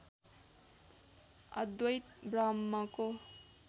अद्वैत ब्रह्मको